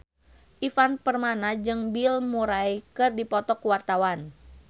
Ivan Permana jeung Bill Murray keur dipoto ku wartawan